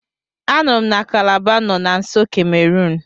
Anụrụ m na Kalaba nọ na nso Kemerun.